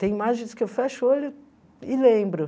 Tem imagens que eu fecho o olho e lembro.